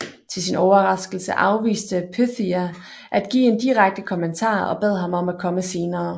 Til sin overraskelse afviste Pythia at give en direkte kommentar og bad ham om at komme senere